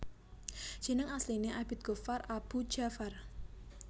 Jeneng asline Abid Ghoffar Aboe Dja far